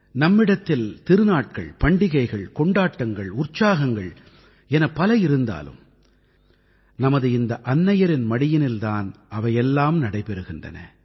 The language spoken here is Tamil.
நம்மிடத்தில் திருநாட்கள் பண்டிகைகள் கொண்டாட்டங்கள் உற்சாகங்கள் என பல இருந்தாலும் நமது இந்த அன்னையரின் மடியினில் தான் அவையெல்லாம் நடைபெறுகின்றன